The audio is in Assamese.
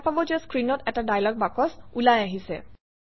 দেখা পাব যে স্ক্ৰীনত এটা ডায়লগ বাকচ ওলাই আহিছে